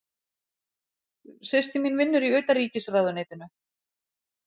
Systir mín vinnur í Utanríkisráðuneytinu.